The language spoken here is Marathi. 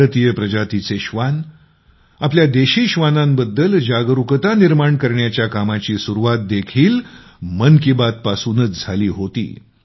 भारतीय प्रजातीचे श्वान आपल्या देशी श्वानांबद्द्ल जागरुकता निर्माण करण्याच्या कामाची सुरुवात देखील मन की बात पासूनच झाली होती